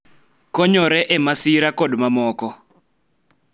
Konyore e masira, kod mamoko.